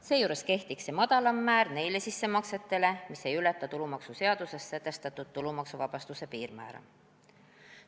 Seejuures kehtiks see madalam määr nende sissemaksete kohta, mis ei ületa tulumaksuseaduses sätestatud tulumaksuvabastuse piirmäära.